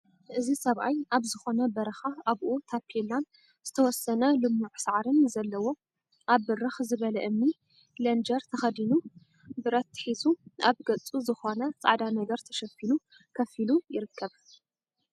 እዚ ሰብኣይ ኣብ ዝኾነ በረኻ ኣብኡ ታፔላን ዝተወሰነ ልሙዕ ሳዕርን ዘለዎ ኣብ ብርክ ዝበለ እምኒ ለንጀር ተኸዲኑ ብረት ሒዙ ኣብ ገፁ ዝኾነ ፃዕዳ ነገር ተሸፊኑ ከፍ ኢሉ ይርከብ፡፡